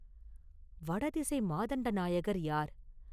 வடதிசை மாதண்ட நாயகர் யார்?